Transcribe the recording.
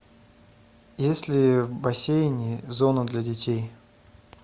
есть ли в бассейне зона для детей